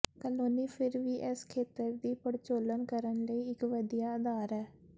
Kelowna ਫਿਰ ਵੀ ਇਸ ਖੇਤਰ ਦੀ ਪੜਚੋਲ ਕਰਨ ਲਈ ਇੱਕ ਵਧੀਆ ਅਧਾਰ ਹੈ